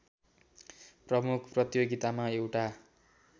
प्रमुख प्रतियोगितामा एउटा